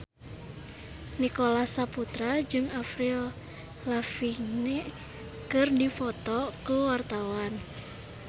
Nicholas Saputra jeung Avril Lavigne keur dipoto ku wartawan